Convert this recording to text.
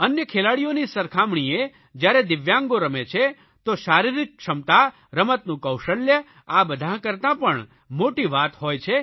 અન્ય ખેલાડીઓની સરખામણીએ જયારે દિવ્યાંગો રમે છે તો શારીરિક ક્ષમતા રમતનું કૌશલ્ય આ બધા કરતા પણ મોટી વાત હોય છે